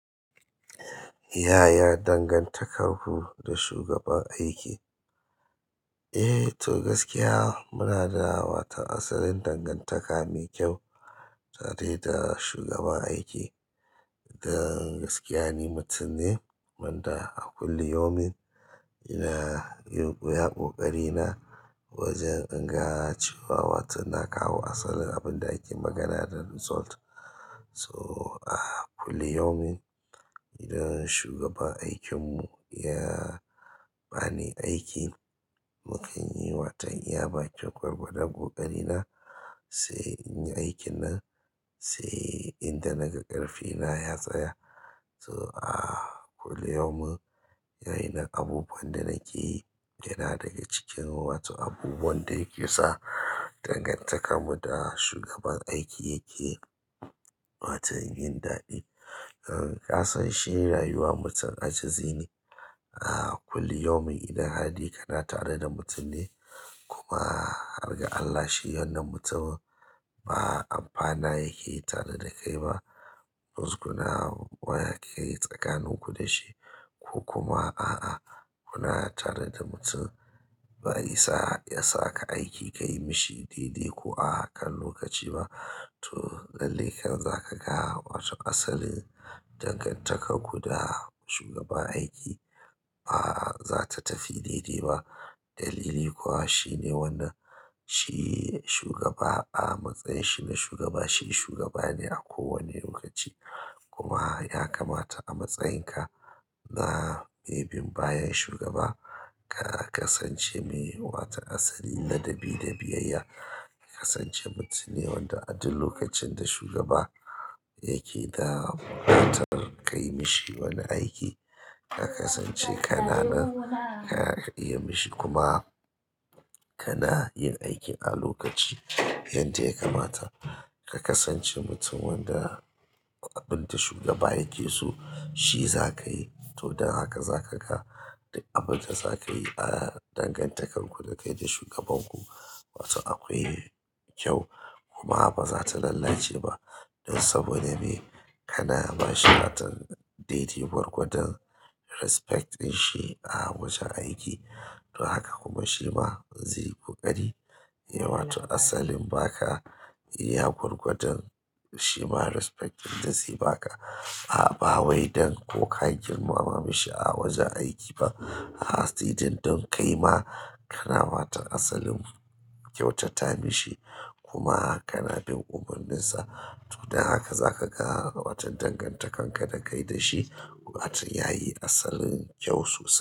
Yaya dangantakarku da shugaban aiki? Eh to gaskiya munada wato asalin dangantaka mai kyau tare da ita shugaban aiki. Dan gaskiya ni mutum ne wanda a kullum yaumin ina yin iya ƙoƙari na wajen in ga cewa watan na kawo asalin abin da ake magana dan result. So, a kullum yaumin idan shugaban aikinmu ya bani aiki, mukan yi watan iya bakin gwargwadan ƙoƙari na, sai in yi aikin nan sai inda naga ƙarfi na ya tsaya. To, a kullu yaumin wa'innan abubuwan da nake yi yana daga cikin wato abubuwan da yake sa dangantakar mu da shugaban aiki yake watan yin daɗi. Kasanshi rayuwa mutum ajizi ne. A kullu yaumin idan har dai kana tare da mutum ne kuma har ga Allah shi wannan mutumin ba amfana yake yi tare da kai ba, musgunawa ne yake yi tsakanin ku da shi ko kuma a'a kuna tare da mutum bai isa ya saka aiki ka yi mishi dai-dai ko a kan lokaci ba. To, lallai kai zaka ga cewa asalin dangantakar ku da shugaban aiki ba za ta tafi dai-dai ba. Dalili kuwa shine wannan shi shugaba a matsayin shine shugaba, shi shugaba ne a kowane lokaci kuma ya kamata a matsayin ka na mai binbayan shugaba ka kasance mai wata asalin ladabi da biyayya. Ka kasance mutumne wanda a duk lokacin da shugaba yake da buƙatar ka yi mishi wani aiki, ka kasance ka na nan ka iya mishi kuma ka na yin aikin a lokaci. Yadda yakamata ka kasance mutum wanda duk abunda shugaba yakeso shi zakayi to dan haka zakaga duk abunda zakayi aah dangantakar ku dakai da shugaban ku akwai kyau kuma bazata lallace ba don saboda me? Kana ba shi watan daidai gwargwadon respect ɗin shi a wajen aiki. Don haka kuma shi ma zai yi ƙoƙari ya wato asalin ba ka iya gwargwadon shi ma respect ɗin da zai ba ka a bawaidan ko ka girmama shi a wajen aiki ba. A sai dai don kai ma kana watan asalin kyauta ta mishi kuma kana bin umarnin sa. To, don haka za ka ga watan dangantakar ka da kai da shi watan yayi asalin kyau sosai.